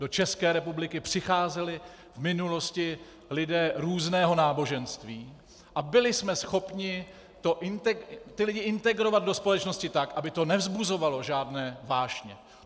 Do České republiky přicházeli v minulosti lidé různého náboženství a byli jsme schopni ty lidi integrovat do společnosti tak, aby to nevzbuzovalo žádné vášně.